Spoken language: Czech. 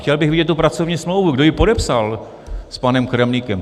Chtěl bych vidět tu pracovní smlouvu, kdo ji podepsal s panem Kremlíkem.